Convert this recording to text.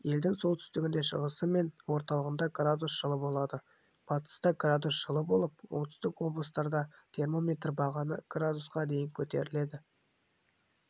елдің солтүстігінде шығысы мен орталығында градус жылы болады батыста градус жылы болып оңтүстік облыстарда термометр бағаны градусқа дейін көтеріледі